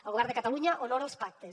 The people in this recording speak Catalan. el govern de catalunya honora els pactes